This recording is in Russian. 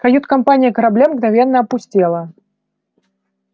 кают-компания корабля мгновенно опустела